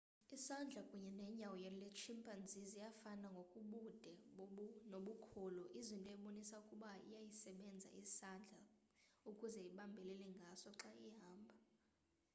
isandla kunye nonyawo lwetshimpanzi ziyafana ngokobude nobukhulu into ebonisa ukuba iyasisebenzisa isandla ukuze ibambelele ngaso xa ihamba